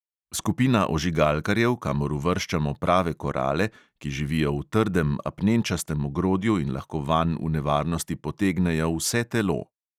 Skupina ožigalkarjev, kamor uvrščamo prave korale, ki živijo v trdem apnenčastem ogrodju in lahko vanj v nevarnosti potegnejo vse telo.